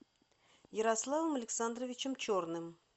ярославом александровичем черным